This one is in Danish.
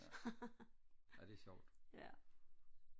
ja ja det er sjovt